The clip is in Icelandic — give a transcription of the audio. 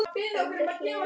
Hildur Hlín.